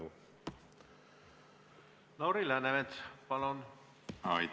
Jah, minu meelest on see kindlasti oluline.